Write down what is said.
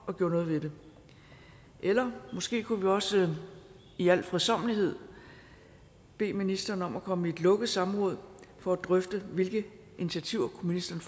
og gjorde noget ved det eller måske kunne vi også i al fredsommelighed bede ministeren om at komme i et lukket samråd for at drøfte hvilke initiativer ministeren